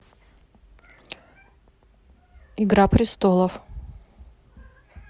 игра престолов